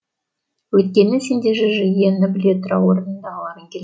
өйткені сендер жже ні біле тұра орындағыларың келмейді